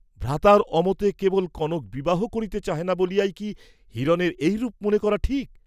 ভ্রাতার অমতে কেবল কনক বিবাহ করিতে চাহে না বলিয়াই কি হিরণের এইরূপ মনে করা ঠিক!